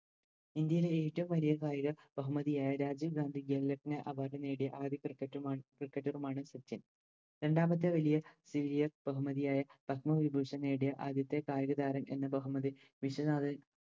ഇന്ത്യയിലെ ഏറ്റോം വലിയ കായിക ബഹുമതിയായ രാജീവ് ഗാന്ധി ഘേൽ രത്ന Award നേടിയ ആ ഒരു Cricket മാണ് Cricketer ഉമാണ് സച്ചിൻ രണ്ടാമത്തെ വലിയ Serious ബഹുമതിയായ പത്മവിഭൂഷൺ നേടിയ ആദ്യത്തെ കായികതാരം എന്ന ബഹുമതി വിശ്വനാഥൻ